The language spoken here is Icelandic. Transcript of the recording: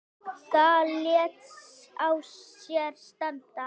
Það lét á sér standa.